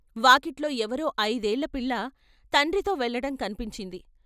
వాకిట్లో ఎవరో ఐదేళ్ళపిల్ల తండ్రితో వెళ్ళటం కనిపించింది.